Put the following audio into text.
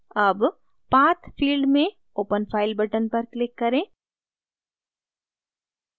अब path field में open file button पर click करें